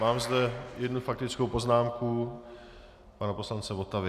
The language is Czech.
Mám zde jednu faktickou poznámku pana poslance Votavy.